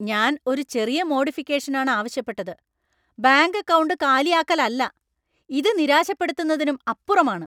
ഞാൻ ഒരു ചെറിയ മോഡിഫിക്കേഷനാണ് ആവശ്യപ്പെട്ടത്, ബാങ്ക് അക്കൗണ്ട് കാലിയാക്കലല്ല ! ഇത് നിരാശപ്പെടുത്തുന്നതിനും അപ്പുറമാണ്.